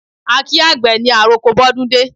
A kí àgbè ní àroko bọ́dúndé